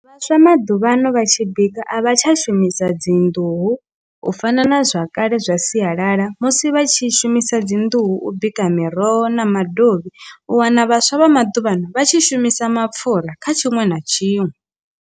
Vhaswa vha maḓuvhano vha tshi bika a vha tsha shumisa dzi nḓuhu u fana na zwakale zwa sialala musi vha tshi shumisa dzi nḓuhu u bika miroho na madovhi u wana vhaswa vha maḓuvhano vha tshi shumisa mapfhura kha tshiṅwe na tshiṅwe.